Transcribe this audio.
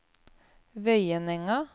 Vøyenenga